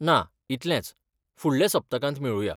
ना, इतलेंच, फुडल्या सप्तकांत मेळुया.